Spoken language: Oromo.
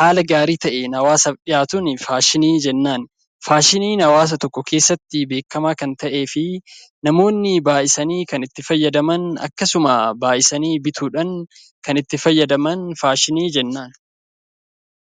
haala gaarii ta'een hawaasaaf dhiyaatuun faashinii jennaan. Faashiniin hawaasa tokko keessatti beekamaa kan ta'ee fi namoonni baay'isanii kan itti fayyadaman akkasuma baay'isanii bituudhaan kan itti fayyadaman faashinii jennaan.